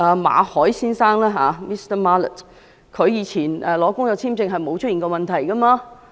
馬凱先生以往申請工作簽證未曾出現問題。